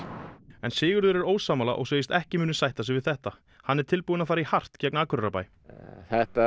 en Sigurður er ósammála og segist ekki munu sætta sig við þetta hann sé tilbúinn að fara í hart gegn Akureyrarbæ þetta